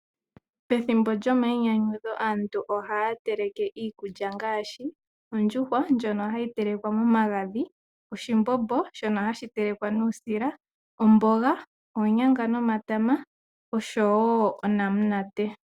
Pethimbo lyomainyanyudho aantu ohaya teleke ngaashi ondjuhwa ndjono hayi telekwa momagadhi, oshimbombo shono hashi telekwa nuusila, omboga , oonyanga nomatama oshowoo onamunate.